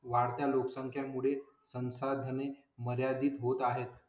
वाढत्या लोकसंख्या मुळे संसाधने मर्यादित होत आहेत.